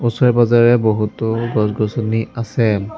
ওচৰে পাজৰে বহুতো গছ-গছনি আছে।